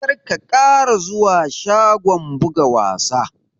Kar ka ƙara zuwa shagon buga wasa!